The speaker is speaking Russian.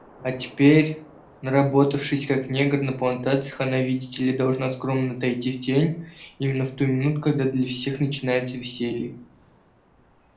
а теперь наработавшись как негр на плантации она видите ли должна скромно отойти в тень именно в ту минуту когда для всех начинается веселье